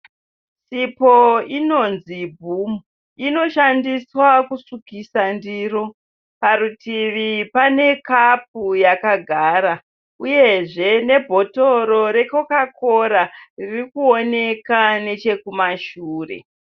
Sipo inonzi boom inoshandiswa kusukisa ndiro parutivi pane kapu yakagara uyezve nebhotoro recoca cola ririkuoneka riripo.